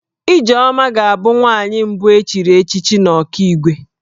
Ijeoma ga-abụ nwaanyị mbụ e chiri echichi n'Ọkigwe